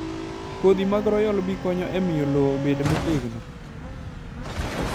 Kodhi mar Royal bee konyo e miyo lowo obed motegno.